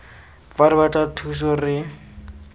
fa re batla thuso re